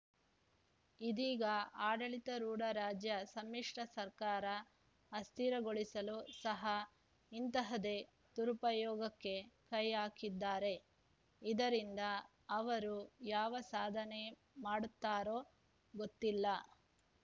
ಇದೀಗ ಆಡಳಿತ ರೂಢ ರಾಜ್ಯ ಸಮ್ಮಿಶ್ರ ಸರ್ಕಾರ ಅಸ್ಥಿರಗೊಳಿಸಲೂ ಸಹ ಇಂತಹದೇ ದುರುಪಯೋಗಕ್ಕೆ ಕೈ ಹಾಕಿದ್ದಾರೆ ಇದರಿಂದ ಅವರು ಯಾವ ಸಾಧನೆ ಮಾಡುತ್ತಾರೋ ಗೊತ್ತಿಲ್ಲ